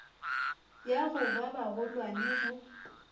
ya go ba bagolwane go